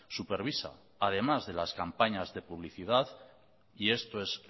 supervisa además de las campañas de publicidad y esto es